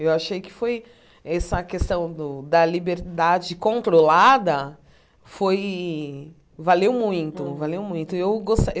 Eu achei que foi essa questão do da liberdade controlada, foi... valeu muito, valeu muito. E eu gostaria